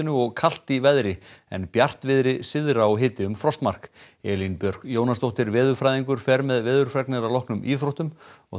og kalt í veðri en bjartviðri syðra og hiti um frostmark Elín Björk Jónasdóttir veðurfræðingur fer með veðurfregnir að loknum íþróttum